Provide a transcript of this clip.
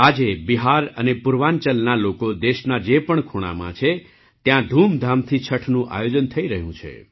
આજે બિહાર અને પૂર્વાંચલના લોકો દેશના જે પણ ખૂણામાં છે ત્યાં ધૂમધામથી છઠનું આયોજન થઈ રહ્યું છે